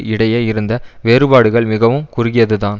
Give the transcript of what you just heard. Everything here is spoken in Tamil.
இடையே இருந்த வேறுபாடுகள் மிகவும் குறுகியதுதான்